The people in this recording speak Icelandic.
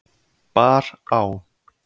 bar á.